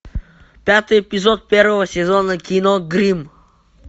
пятый эпизод первого сезона кино гримм